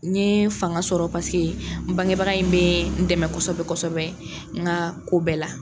N ye fanga sɔrɔ paseke n bangebaga in bɛ n dɛmɛ kosɛbɛ kosɛbɛ n nka ko bɛɛ la